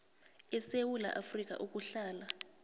esewula afrika ukuhlala